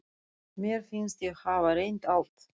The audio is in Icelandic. Mér fannst ég hafa reynt allt.